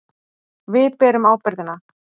Við berum ábyrgðina.